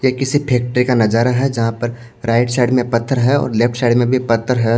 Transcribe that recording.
ये किसी फैक्ट्री का नजारा है जहां पर राइट साइड में पत्थर है और लेफ्ट साइड में भी पत्थर है।